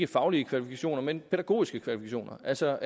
faglige kvalifikationer men pædagogiske kvalifikationer altså